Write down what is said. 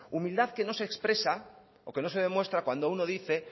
humildad que no se expresa o que no se demuestra cuando uno dice